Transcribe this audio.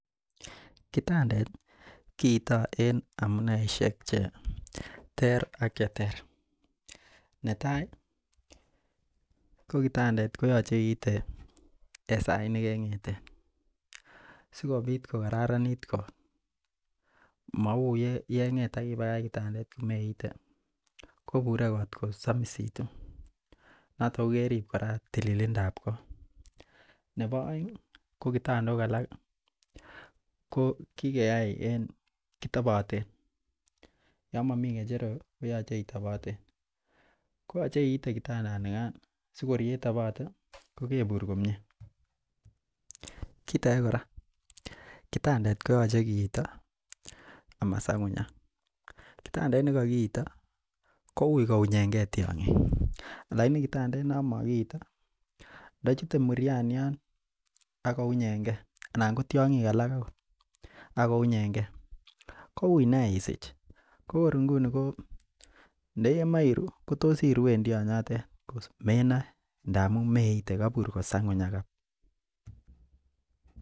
Kitandet kiito en amuneishek cheter ak cheter, netai ko kitandet koyoche iite en sait nekeng'eten sikobit ko kararanit koot mauu yeng'et ak ibakach kitandet komeite, kobure koot kosomisitu, noton ko kerib kora tililindab koot, nebo oeng ko kitandok alak ko kikeyai en kitoboten yoon momii ng'echerok koyoche iteboten, koyoche iite kitandanikan sailor yetobote ko kebur komie, kiit akee kora kitandet koyoche kiito amasang'unyak, kitandet nekokiito kouii kounyeng'e tiong'ik lakini kitandet non mokiito ndochute murianian ak kounyeng'e anan ko tiong'ik alak okot ak kounyeng'e kouii neaa isich ko kor inguni ko ndokemoe iruu kotos iruen tionyotet menoe ndamun meite kobur kosangunyak.